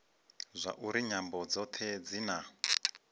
zwauri nyambo dzothe dzi na